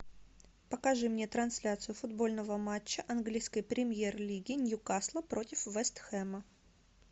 покажи мне трансляцию футбольного матча английской премьер лиги ньюкасла против вест хэма